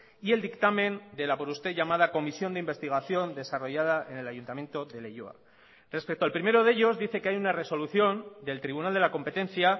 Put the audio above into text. y el dictamen de la por usted llamada comisión de investigación desarrollada en el ayuntamiento de leioa respecto al primero de ellos dice que hay una resolución del tribunal de la competencia